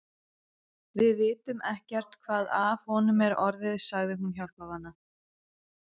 Við vitum ekkert hvað af honum er orðið, sagði hún hjálparvana.